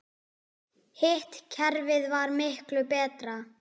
Hitt kerfið var miklu betra.